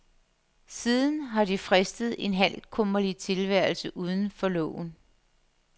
Siden har de fristet en halvkummerlig tilværelse uden for loven.